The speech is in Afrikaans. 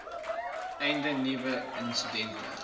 einde nuwe insidente